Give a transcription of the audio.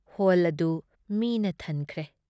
Hall ꯑꯗꯨ ꯃꯤꯅ ꯊꯟꯈꯔꯦ꯫